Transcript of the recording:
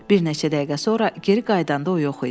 Bir neçə dəqiqə sonra geri qayıdanda o yox idi.